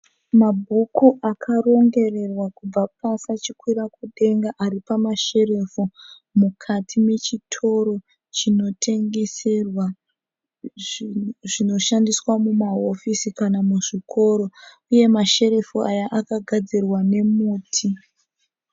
Mabhuku akarongererwa kubva pasi achikwira kudenga ari pamasherufu mukati mechitoro chinotengeserwa zvinhu zvinoshandiswa mumahofisi kana muzvikoro uye masherufu aya akagadzirwa nemuti.